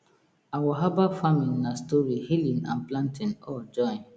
our herbal farming na story healing and planting all join